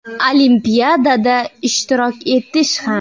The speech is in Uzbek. Olimpiadada ishtirok etish ham.